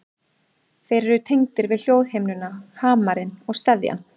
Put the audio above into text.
Þeir eru tengdir við hljóðhimnuna, hamarinn og steðjann.